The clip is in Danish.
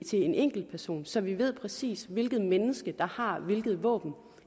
til en enkelt person så vi ved præcist hvilket menneske der har hvilke våben